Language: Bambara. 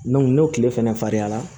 n'o tile fɛnɛ farinyara